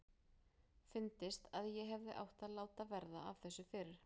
Fyndist að ég hefði átt að láta verða af þessu fyrr.